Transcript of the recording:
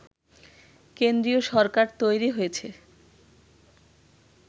কেন্দ্রীয় সরকার তৈরি হয়েছে